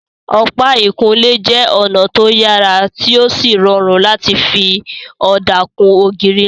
Ọ̀pá ìkunlé jẹ́ ọ̀nà tó yàrá tí ó sì rọrùn láti fi ọ̀dà kun ògiri ńlá